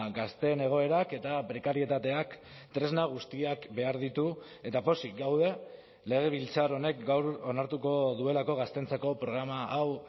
gazteen egoerak eta prekarietateak tresna guztiak behar ditu eta pozik gaude legebiltzar honek gaur onartuko duelako gazteentzako programa hau